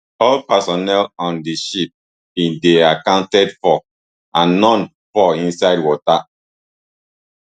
all personnel on di ship bin dey accounted for and noone fall inside water